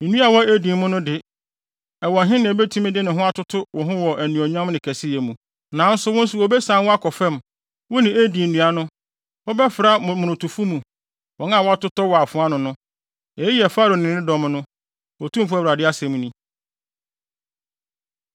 “ ‘Nnua a ɛwɔ Eden no mu de, ɛwɔ he na ebetumi de ne ho atoto wo ho wɔ anuonyam ne kɛseyɛ mu? Nanso wo nso wobesian wo akɔ fam, wo ne Eden nnua no. Wobɛfra momonotofo mu, wɔn a wɔatotɔ wɔ afoa ano no. “ ‘Eyi yɛ Farao ne ne dɔm no, Otumfo Awurade asɛm ni.’ ”